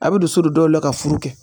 A bɛ don so don dɔw la ka furu kɛ